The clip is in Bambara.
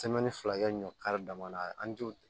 filakɛ ɲɔ kari dama na an t'o